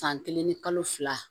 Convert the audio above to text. San kelen ni kalo fila